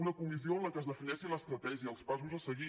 una comissió en la qual es defineixi l’estratègia els passos a seguir